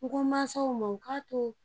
N ko mansaw ma, u ka to